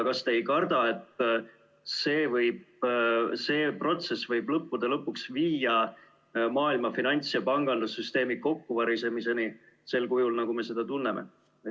Kas te ei karda, et see protsess võib lõppude lõpuks viia maailma finants- ja pangandussüsteemi kokkuvarisemiseni sel kujul, nagu me seda tunneme?